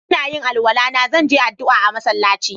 Ina yin alwala na, zan je addu'a a'masallaci.